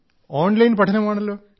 online പഠനമാണല്ലോ